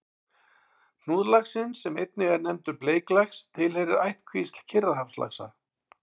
Hnúðlaxinn, sem einnig er nefndur bleiklax, tilheyrir ættkvísl Kyrrahafslaxa.